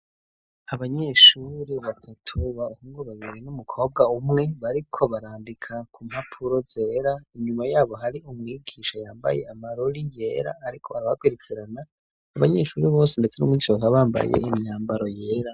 Abanyeshure batatu bahungu babiri n'umukobwa umwe bariko barandika ku mpapuro zera inyuma yabo hari umwigisha yambaye amarori yera ariko arabakwirikirana abanyeshuri bose ndetse n'umwigisha bakaba bambaye imyambaro yera.